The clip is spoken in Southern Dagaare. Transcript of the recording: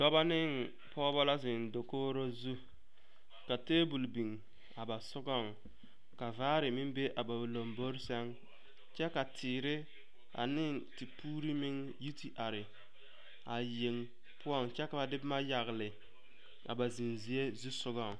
Dɔba ne pɔgeba la zeŋ dakogro zu ka table biŋ a ba sogaŋ ka vaare meŋ be a ba lombore sɛŋ kyɛ ka teere ane tepuuri meŋ yi te are a yeŋ poɔŋ kyɛ ka ba de boma yagle a ba zeŋ zie zu sogaŋ.